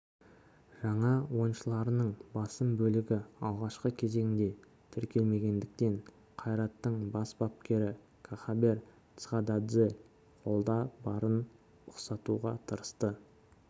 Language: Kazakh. жаңа ойыншыларының басым бөлігі алғашқы кезеңге тіркелмегендіктен қайраттың бас бапкері кахабер цхададзе қолда барын ұқсатуға тырысты